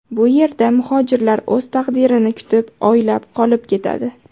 Bu yerda muhojirlar o‘z taqdirini kutib oylab qolib ketadi.